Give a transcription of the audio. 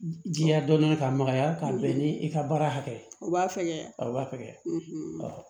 Jiya dɔɔnin dɔɔnin k'a magaya ka bɛn ni i ka baara hakɛ o b'a fɛgɛya a b'a fɛgɛya